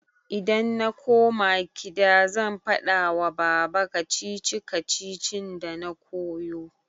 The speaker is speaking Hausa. Idan na koma kida zan faɗa wa baba. kacici-kacicin dana koyo.